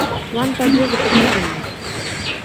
план побега покажи мне